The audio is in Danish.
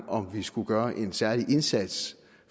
om vi skulle gøre en særlig indsats